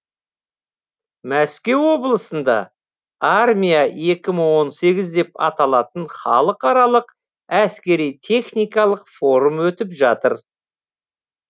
мәскеу облысында армия екі мың он сегіз деп аталатын халықаралық әскери техникалық форум өтіп жатыр